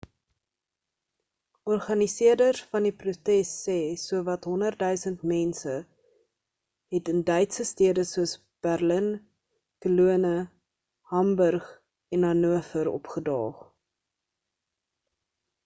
organiseerders van die protes sê sowat 100,000 mense het in duitse stede soos berlin cologne hamburg en hanover opgedaag